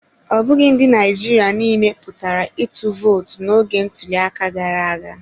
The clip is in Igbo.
Ọ bụghị ndị Naịjirịa niile pụtara ịtụ vootu n'oge ntuliaka gara aga.